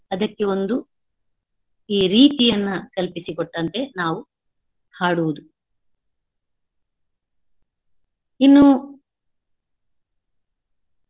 ಅದಕ್ಕೆ ಒಂದು ಈ ರೀತಿಯನ್ನಾ ಕಲ್ಪಿಸಿಕೊಟ್ಟಂತೆ ನಾವು ಹಾಡುವುದು ಇನ್ನೂ.